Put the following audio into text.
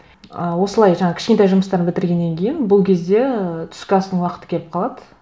ы осылай жаңа кішкентай жұмыстарды бітіргеннен кейін бұл кезде ы түскі астың уақыты келіп қалады